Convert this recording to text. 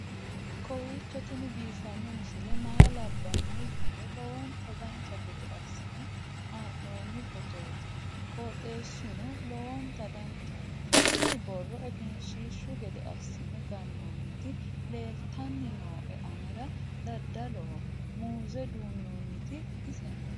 kowiicho tini biiffanno misile maa labbanno yiniro lowonta dancha gede assine haa'noonni foototi qoxeessuno lowonta danachaho. tini borro egenshshiishu gede assine gannoonniti leeltanni nooe anera dadaloho muuze duunnoonniti ise no